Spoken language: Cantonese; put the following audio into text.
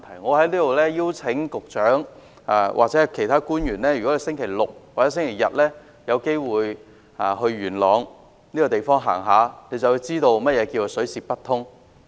我在此邀請局長或其他官員在星期六日有機會到元朗走走，便會知道何謂水泄不通。